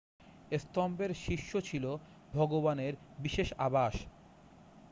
স্তম্ভের শীর্ষ ছিল ভগবানের বিশেষ আবাস